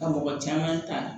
Ka mɔgɔ caman ta